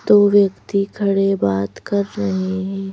दो व्यक्ति खड़े बात कर रहे हैं।